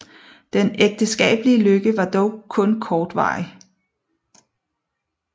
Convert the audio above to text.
Den ægteskabelige lykke var dog kortvarig